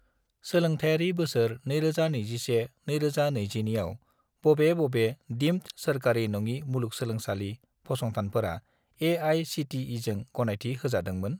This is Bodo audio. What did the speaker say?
सोलोंथायारि बोसोर 2021 - 2022 आव, बबे बबे दिम्ड सोरखारि नङि मुलुगसोंलोंसालि फसंथानफोरा ए.आइ.सि.टि.इ.जों गनायथि होजादोंमोन?